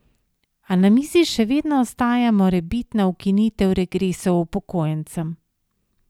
A na mizi še vedno ostaja morebitna ukinitev regresov upokojencem.